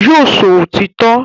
Yóò sọ òtítọ́